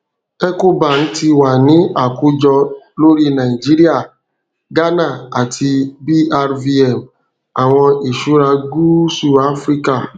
ecobank ti wa ni akojọ lori naijiria ghana ati brvm awọn iṣura gúúsù áfíríkà